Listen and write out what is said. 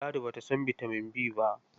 Ladi ba ta san bitamin B ba.